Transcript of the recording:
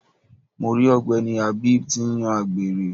Mo ri ogbeni Habeeb ti ń yan àgbèrè.